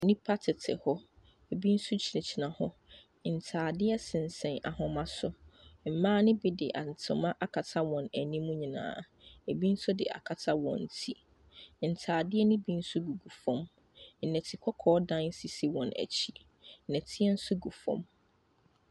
Nipa tete hɔ ebi nso gyina hɔ ntaadeɛ sɛsen ahoma so mmea nobi di ntoma akata wɔn anim nyinaa ebi nso di akata wɔn tire ntaadeɛ no bi nso gugu fom dɔtekɔkɔɔ dan sisi wɔn akyi dɔteɛ so gu fom.